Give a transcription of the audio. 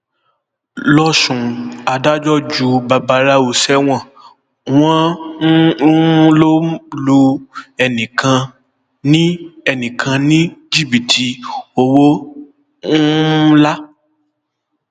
lọsùn adájọ ju babaláwo sẹwọn wọn um lọ lu ẹnìkan ní ẹnìkan ní jìbìtì owó um ńlá